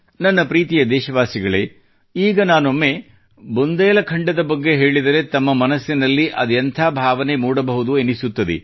ನನ್ನ ಪ್ರೀತಿಯ ದೇಶವಾಸಿಗಳೇ ಈಗ ನಾನೊಮ್ಮೆ ಬುಂದೇಲಖಂಡದ ಬಗ್ಗೆ ಹೇಳಿದರೆ ತಮ್ಮ ಮನಸ್ಸಿನಲ್ಲಿ ಅದೆಂಥ ಭಾವನೆ ಮೂಡಬಹುದು ಎನಿಸುತ್ತದೆ